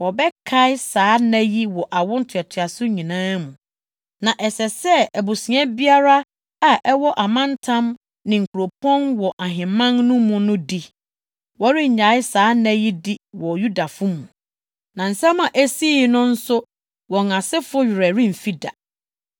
Wɔbɛkae saa nna yi wɔ awo ntoatoaso nyinaa mu na ɛsɛ sɛ abusua biara a ɛwɔ amantam ne nkuropɔn wɔ ahemman no mu no di. Wɔrennyae saa nna yi di wɔ Yudafo mu, na nsɛm a esii no nso wɔn asefo werɛ remfi da.